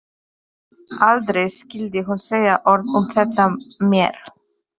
Aldrei skyldi hún segja orð um þetta meir.